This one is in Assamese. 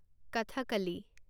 কথকলী